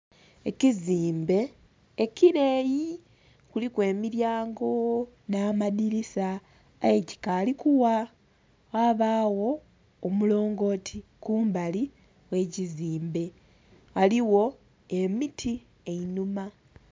Ekizimbe ekileyi kuliku emilyango nh'amadhilisa aye kikaali kugha, ghabagho omulongooti kumbali ghekizimbe, ghaligho emiti einhuma.